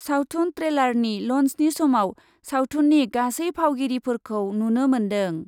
सावथुन ट्रेलारनि लन्चनि समाव सावथुननि गासै फावगिरिफोरखौ नुनो मोन्दों ।